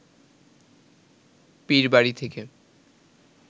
পীরবাড়ি থেকে